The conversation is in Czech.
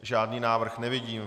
Žádný návrh nevidím.